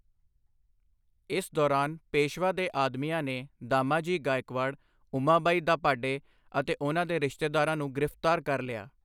ਇਸ ਦੌਰਾਨ, ਪੇਸ਼ਵਾ ਦੇ ਆਦਮੀਆਂ ਨੇ ਦਾਮਾਜੀ ਗਾਇਕਵਾੜ, ਉਮਾਬਾਈ ਦਾਭਾਡੇ ਅਤੇ ਉਹਨਾਂ ਦੇ ਰਿਸ਼ਤੇਦਾਰਾਂ ਨੂੰ ਗ੍ਰਿਫਤਾਰ ਕਰ ਲਿਆ।